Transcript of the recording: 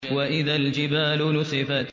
وَإِذَا الْجِبَالُ نُسِفَتْ